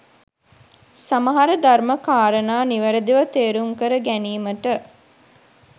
සමහර ධර්ම කාරණා නිවැරදිව තේරුම් කර ගැනීමට